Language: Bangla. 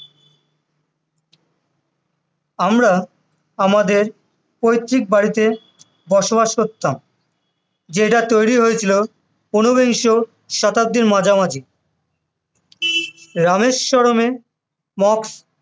আমরা আমাদের পৈতৃক বাড়িতে বসবাস করলাম যেটা তৈরী হয়েছিল ঊনবিংশ শতাব্দীর মাঝামাঝি, রামেশ্বরমে Mosque